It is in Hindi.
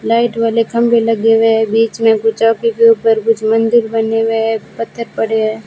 लाइट वाले खंभे लगे हुएं हैं बीच में कुछ के ऊपर कुछ मंदिर बने हुएं हैं पत्थर पड़े हैं।